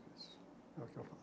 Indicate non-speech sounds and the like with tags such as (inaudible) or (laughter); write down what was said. (unintelligible) É o que eu